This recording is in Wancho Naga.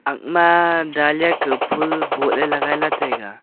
akma dalia ka phool bohley lagailey taiga.